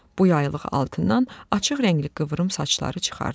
Bu yaylıq altından açıq rəngli qıvrım saçları çıxardı.